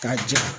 K'a jɛ